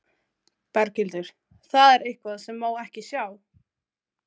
Berghildur: Það er eitthvað sem má ekki sjá?